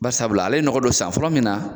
Bari sabula ale ye nɔgɔ don san fɔlɔ min na